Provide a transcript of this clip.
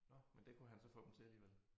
Nåh men det kunne han så få dem til alligevel